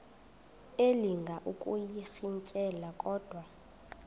elinga ukuyirintyela kodwa